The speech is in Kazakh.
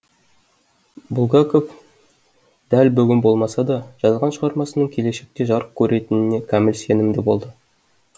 булгаков дәл бүгін болмаса да жазған шығармасының келешекте жарық көретініне кәміл сенімді болды